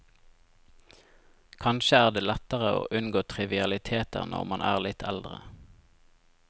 Kanskje er det lettere å unngå trivialiteter når man er litt eldre.